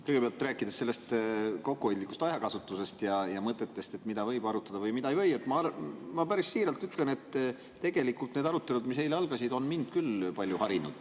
Kõigepealt, rääkides sellest kokkuhoidlikust ajakasutusest ja mõtetest, mida võib arutada või mida ei või, ma päris siiralt ütlen, et tegelikult need arutelud, mis eile algasid, on mind küll palju harinud.